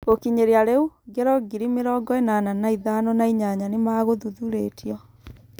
Gũkinyĩria rĩu, ngero ngiri mĩrongo ĩnana na ithano na inyanya nĩ magathuthurĩtio.